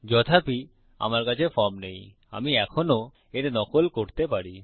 যথাপি আমার কাছে ফর্ম নেই আমি এখনও এর নকল করতে পারি